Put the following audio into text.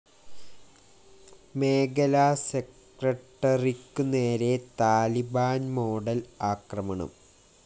മേഖലാ സെക്രട്ടറിക്കുനേരെ Taliban‍ model ആക്രമണം